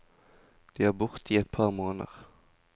De er borte i et par måneder.